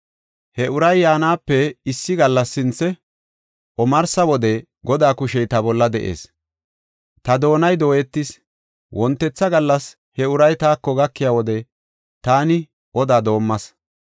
He uray yaanape issi gallasi sinthe, omarsa wode Godaa kushey ta bolla de7ees; ta doonay dooyetis; wontetha gallas he uray taako gakiya wode taani oda doomas.